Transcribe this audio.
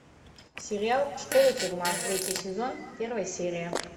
сериал школа тюрьма третий сезон первая серия